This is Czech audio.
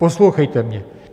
Poslouchejte mě.